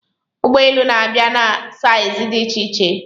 Ụgbọ elu na-abịa na saizi dị iche-iche